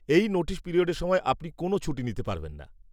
এই নোটিস পিরিয়ডের সময় আপনি কোনো ছুটি নিতে পারবেন না।